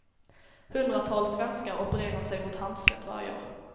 Hundratals svenskar opererar sig mot handsvett varje år.